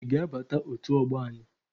Ị ga-abata otu ọgbọ anyị!